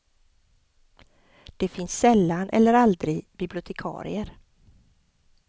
Det finns sällan eller aldrig bibliotekarier.